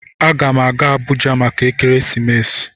A gam aga Abuja maka ekeresimesi.